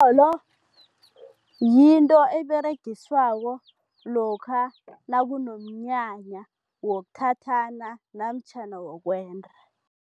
yinto eberegiswako lokha nakunomnyanya wokuthathana namtjhana wokwenda.